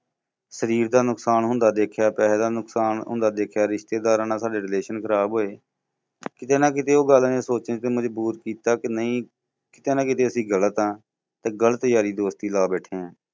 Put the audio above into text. ਸ਼ਰੀਰ ਦਾ ਨੁਕਸਾਨ ਹੁੰਦਾ ਦੇਖਿਆ, ਪੈਸੇ ਦਾ ਨੁਕਸਾਨ ਹੁੰਦਾ ਦੇਖਿਆ, ਰਿਸ਼ਤੇਦਾਰਾਂ ਨਾਲ ਸਾਡੇ relation ਖਰਾਬ ਹੋਏ ਕਿਤੇ ਨਾ ਕਿਤੇ ਉਹ ਗੱਲਾਂ ਨੇ ਸੋਚਣ ਲਈ ਮਜਬੂਰ ਕੀਤਾ ਕਿ ਨਹੀਂ ਕਿਤੇ ਨਾ ਕਿਤੇ ਅਸੀਂ ਗ਼ਲਤ ਹਾਂ, ਤੇ ਗਲਤ ਯਾਰੀ ਦੋਸਤੀ ਲਾ ਬੈਠੇ ਹਾਂ।